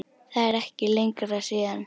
Það er ekki lengra síðan!